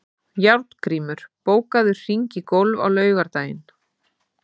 Járngrímur, bókaðu hring í golf á laugardaginn.